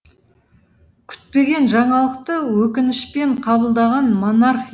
күтпеген жаңалықты өкінішпен қабылдаған монарх